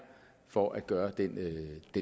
for at gøre den